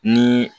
Ni